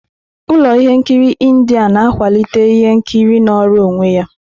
Ụlọ ihe nkiri Indi na-akwalite ihe nkiri nọọrọ onwe ya.